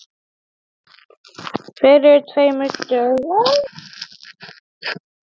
Fyrir tveimur dögum?